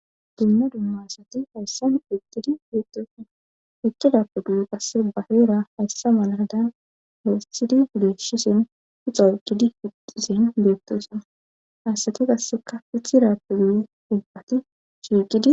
Dunna dumma asati hayssan eqqidi beettosana eqqi daappu duye qasse baheera hayssa malaadan lo7estidi uleshisen uxa eqqidi pixisen beettosana hayssati qasseka pithi raappu duye dub7ati shiiqidi.